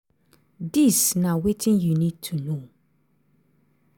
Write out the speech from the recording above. dis na wetin you need to know.